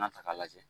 N'a ta k'a lajɛ